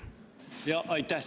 Aitäh!